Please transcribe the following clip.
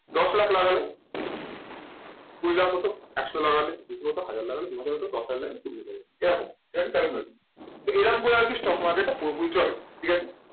দশ লাখ লাগালে কুড়ি লাখ হতো একশো লাগালে দুশো হতো, হাজার লাগালে দুহাজার হতো দশ হাজার লাগালে কুড়ি হাজার হতো এরকম এটা হচ্ছে calculation তো এরম করে আর কি stock market টা পুরোপুরি চলে ঠিক আছে।